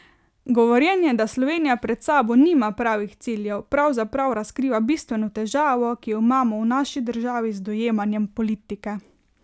Govorjenje, da Slovenija pred sabo nima pravih ciljev, pravzaprav razkriva bistveno težavo, ki jo imamo v naši državi z dojemanjem politike.